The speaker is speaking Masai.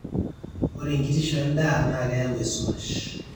ore enkitisho endaa naa keyau esumash